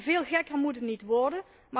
Veel gekker moet het niet worden!